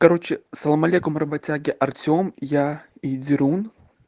короче салам алейкум работяги артем я и дерун